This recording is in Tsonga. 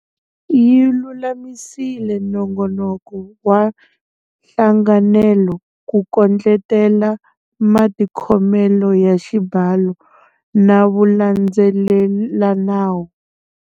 Yi lulamisile nongonoko wa nhlanganelo ku kondletela matikhomelo ya xibalo na vulandzelelanawu.